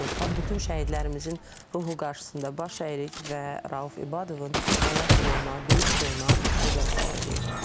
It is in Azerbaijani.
Bütün şəhidlərimizin ruhu qarşısında baş əyirik və Rauf İbadovun həyat yoluna, döyüş yoluna nəzər salacağıq.